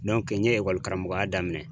n ye karamɔgɔya daminɛ